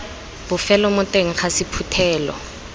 bofelo mo teng ga sephuthelo